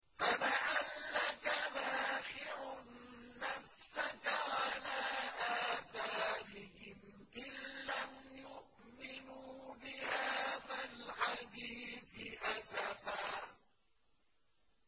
فَلَعَلَّكَ بَاخِعٌ نَّفْسَكَ عَلَىٰ آثَارِهِمْ إِن لَّمْ يُؤْمِنُوا بِهَٰذَا الْحَدِيثِ أَسَفًا